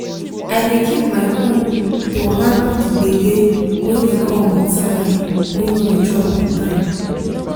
i dey keep my cool to handle the gbege wey dey come with salary wey no dey drop on time.